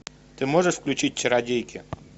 ты можешь включить чародейки